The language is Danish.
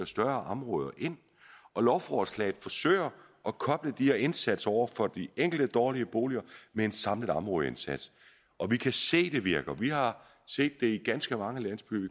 større områder lovforslaget forsøger at koble de her indsatser over for de enkelte dårlige boliger med en samlet områdeindsats og vi kan se det virker vi har set det i ganske mange landsbyer vi